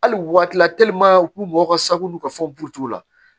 Hali waati la u k'u mɔgɔ ka sago n'u ka fɔ burutigiw la